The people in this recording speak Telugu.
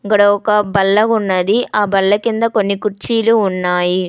ఇక్కడ ఒక బల్ల ఉన్నది ఆ బల్ల కింద కొన్ని కుర్చీలు ఉన్నాయి.